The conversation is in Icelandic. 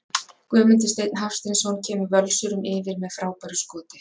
GUÐMUNDUR STEINN HAFSTEINSSON KEMUR VÖLSURUM YFIR MEÐ FRÁBÆRU SKOTI!